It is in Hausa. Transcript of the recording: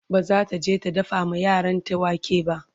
bazata je ta dafa ma yaranta wake ba